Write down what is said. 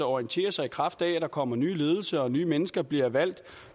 orienterer sig i kraft af at der kommer ny ledelse og at nye mennesker bliver valgt